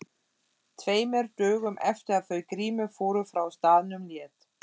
Tveimur dögum eftir að þau Grímur fóru frá staðnum lét